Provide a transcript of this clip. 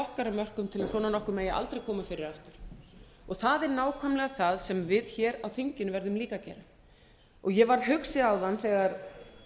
okkar af mörkum til að svona nokkuð megi aldrei koma fyrir aftur það er nákvæmlega það sem við hér á þinginu verðum líka að gera ég varð hugsi áðan þegar